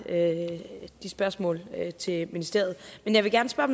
de spørgsmål til ministeriet men jeg vil gerne spørge